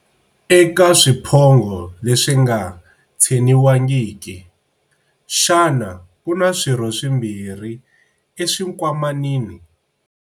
Eka swiphongho leswi nga tsheniwangiki, xana ku na swirho swimbirhi eswinkwamanini?